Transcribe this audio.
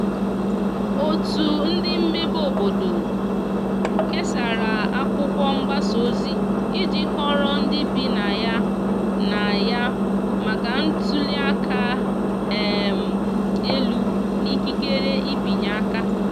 otu ndi mmebe obodo kesara akwụkwo mgbasa ozi iji kọoro ndi ibi na ya na ya maka ntuli aka um elu na ikekere ịbịanye aka